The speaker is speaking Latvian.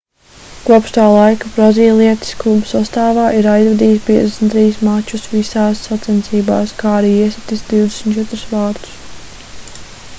kopš tā laika brazīlietis kluba sastāvā ir aizvadījis 53 mačus visās sacensībās kā arī iesitis 24 vārtus